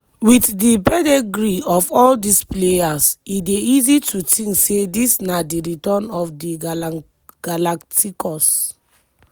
wit di pedigree of all dis players e dey easy to tink say dis na di return of di galacticos.